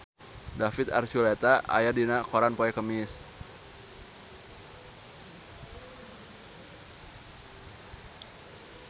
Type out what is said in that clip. David Archuletta aya dina koran poe Kemis